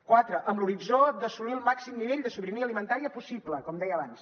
quatre amb l’horitzó d’assolir el màxim nivell de sobirania alimentària possible com deia abans